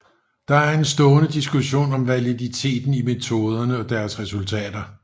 Der er en stående diskussion om validiteten i metoderne og deres resultater